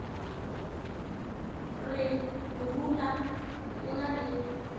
re morula o na le